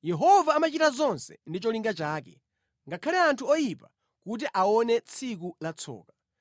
Yehova amachita zonse ndi cholinga chake, ngakhale anthu oyipa kuti aone tsiku latsoka.